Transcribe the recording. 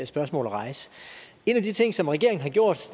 spørgsmål at rejse en af de ting som regeringen har gjort